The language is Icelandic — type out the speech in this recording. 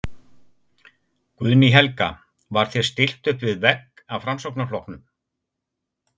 Guðný Helga: Var þér stillt uppvið vegg af Framsóknarflokknum?